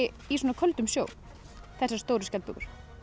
í svona köldum sjó þessar stóru skjaldbökur